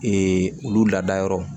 olu lada yɔrɔ